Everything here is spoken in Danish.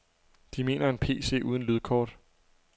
De mener en PC uden lydkort.